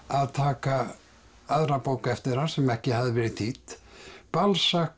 að taka aðra bók eftir hann sem ekki hafði verið þýdd